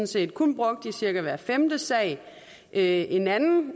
set kun brugt i cirka hver femte sag en anden